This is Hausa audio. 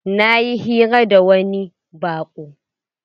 Na yi hira da wani baƙo